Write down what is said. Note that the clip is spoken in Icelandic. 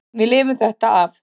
Við lifum þetta af.